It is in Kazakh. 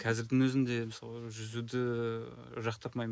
қазірдің өзінде мысалы жүзуді жақтырмаймын